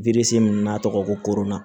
min n'a tɔgɔ ko koronna